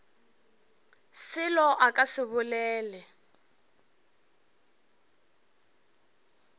selo a ka se bolele